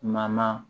Maman